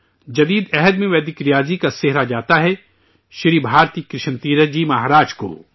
دور جدید میں ویدک ریاضی کا کریڈٹ جاتا ہے جناب بھارتی کرشن تیرتھ جی مہاراج کو